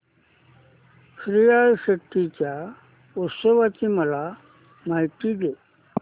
श्रीयाळ षष्टी च्या उत्सवाची मला माहिती दे